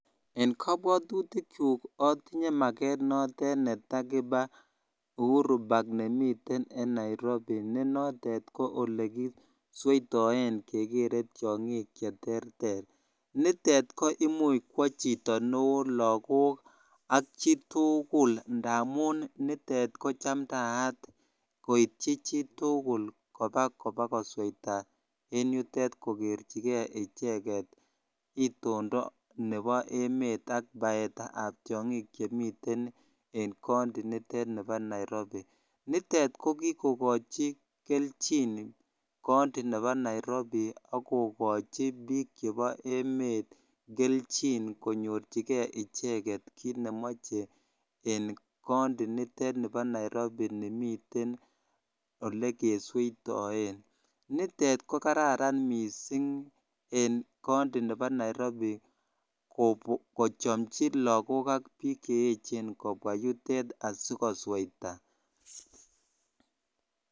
En kobwotutikyuk otinye makeet netakiba Uhuru Park nemiten en Nairobi ne notet ko elekisweitoen kekere tiong'ik cheterter, nitet ko imuch kwoo chito neoo, lokok ak chitukul ndamun nitet ko chamndaat koityi chitukul kobaa kobakosotat en yutet kobokokerchike icheket itondo nebo emet ak baetab tiong'ik chemiten en county initet nibo Nairobi, nitet ko kikokochi kelchin county nebo Nairobi ak kokochi biik chebo emeet kelchin konyorchike icheket kiit nemoche en county nitet nibo Nairobi nimiten olekesweitoen, nitet ko kararan mising en county nebo Nairobi kochomchi look ak biik che echen kobwa yutet asikosweita.